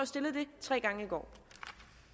stillede det tre gange